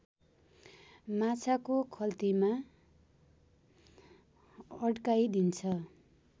माछाको खल्तीमा अड्काइदिन्छ